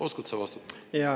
Oskad sa vastata?